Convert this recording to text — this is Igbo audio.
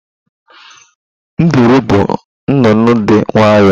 Nduru bụ nnụnụ dị nwayọọ.